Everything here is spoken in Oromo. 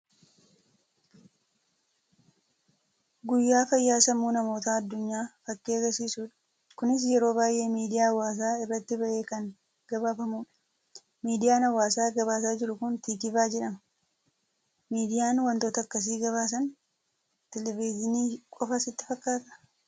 Guyyaa fayyaa Sammuu namoota addunyaa fakkii argisiisudha. Kunis yeroo baay'ee miidiyaa hawaasaa iratti bahee kan gabaafamudha. Miidiyaan hawaasaa gabaasaa jiru kun Tikvaah jedhama. Miidiyaan waantota akkasii gabaasan Televithinii qofaa sitti fakkaataa?